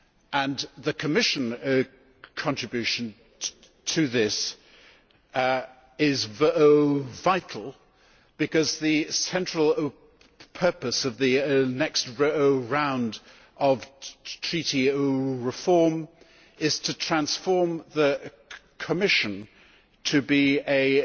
And the Commission contribution to this is vital because the central purpose of the next round of Treaty reform is to transform the Commission to be a